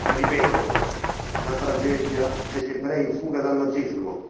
Ripetono la tragedia degli ebrei in fuga dal nazismo